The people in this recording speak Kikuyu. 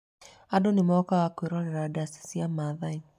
Andũ nĩ mokaga kwĩrorera ndaci cia Maathai.